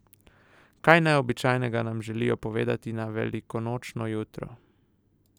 Kaj neobičajnega nam želijo povedati na velikonočno jutro?